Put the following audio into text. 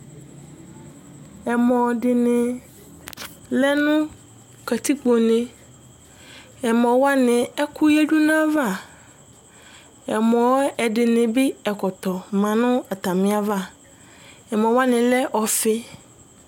ɛmɔdɩnɩ lɛ nu katikpo, ɛkʊ yadʊ nʊ ɛmɔwanɩ ava, lakʊ ɛkɔtɔ lɛ nʊ atamiava, ɛmɔwanɩ dza lɛ ɔfi